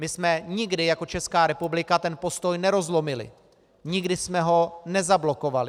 My jsme nikdy jako Česká republika ten postoj nerozlomili, nikdy jsme ho nezablokovali.